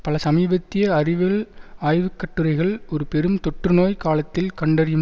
பல சமீபத்திய அறிவியல் ஆய்வு கட்டுரைகள் ஒரு பெரும் தொற்றுநோய் காலத்தில் கண்டறியும்